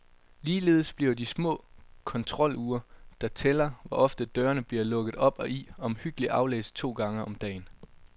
Ligeledes bliver de små kontrolure, der tæller, hvor ofte dørene bliver lukket op og i, omhyggeligt aflæst to gang om dagen.